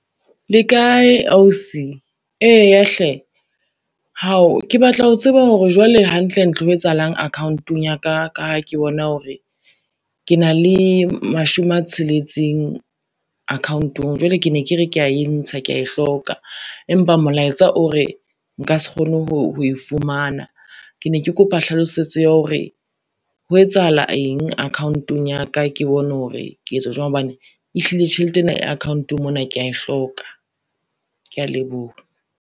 Le kae ausi? Eya hle, hao! ke batla ho tseba hore jwale hantle ntle ho etsahalang account-ong ya ka, ka ha ke bona hore, ke na le mashome a tsheletseng account-ong jwale ke ne ke re, ke ya e ntsha ke ya e hloka empa molaetsa o re nka se kgone ho e fumana. Ke ne ke kopa hlalosetso ya hore ho etsahala eng account-ong ya ka, ke bone hore ke etse jwang hobane ehlile tjhelete ena ya account-ong mona kea e hloka. Kea leboha.